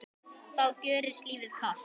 þá gjörist lífið kalt.